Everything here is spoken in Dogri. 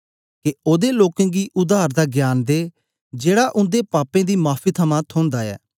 के ओदे लोकें गी उद्धार दा ज्ञान दे जेड़ा उन्दे पापे दी माफी थमां थोंदा ऐ